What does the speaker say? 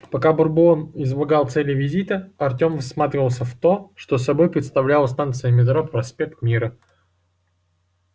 пока бурбон излагал цели визита артем всматривался в то что собой представляла станция метро проспект мира